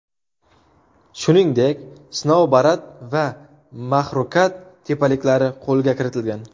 Shuningdek, Snoubarat va Maxrukat tepaliklari qo‘lga kiritilgan.